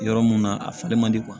Yɔrɔ mun na a falen man di